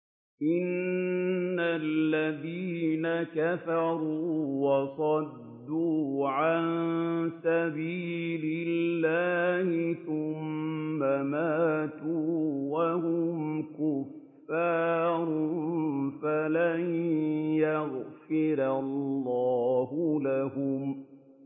إِنَّ الَّذِينَ كَفَرُوا وَصَدُّوا عَن سَبِيلِ اللَّهِ ثُمَّ مَاتُوا وَهُمْ كُفَّارٌ فَلَن يَغْفِرَ اللَّهُ لَهُمْ